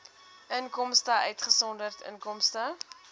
inkomste uitgesonderd inkomste